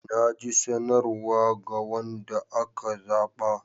Na ji sanarwa ga wanda aka zaba.